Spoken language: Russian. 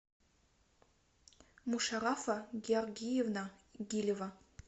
мушаррафа георгиевна гилева